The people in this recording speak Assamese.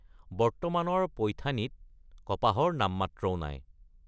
বৰ্তমানৰ পৈথানীত কপাহৰ নামমাত্ৰও নাই।